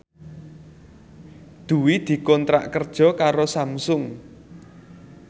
Dwi dikontrak kerja karo Samsung